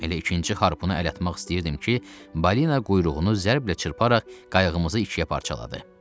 Elə ikinci harpunu əl atmaq istəyirdim ki, balina quyruğunu zərblə çırparaq qayğımızı ikiyə parçaladı.